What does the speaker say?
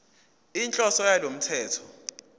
inhloso yalo mthetho